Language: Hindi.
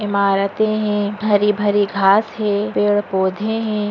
इमारते है भरी-भरी घास है पेड़ पौधे है।